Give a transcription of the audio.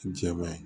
Jɛbɛ